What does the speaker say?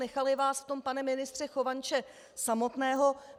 Nechali vás v tom, pane ministře Chovanče, samotného.